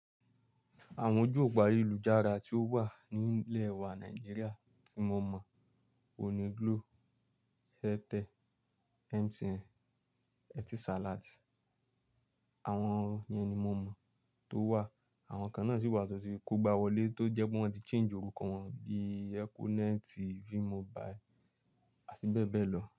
Àwọn ojú òpó ayélujára tí ó wà ní ilẹ̀ wa Nàìjíríà tí mo mọ̀, o ni Glo, Airtel, MTN, Etisalat. Àwọn ìyẹn ní mo mọ̀ tó wà. Àwọn kan náà sì wà tó ti kógbá wọlé tó jẹ́ pé wọ́n ti change orúkọ wọn bí Econet, Vmobile àti bẹ́ẹ̀ bẹ́ẹ̀ lọ.